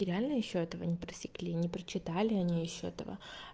и реально ещё этого не просекли не прочитали они ещё этого